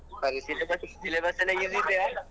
ಸರಿ ಸಿಟಬಸ್ syllabus ಎಲ್ಲಾ easy ಇದ್ಯ?